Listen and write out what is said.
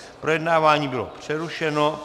Projednávání bylo přerušeno.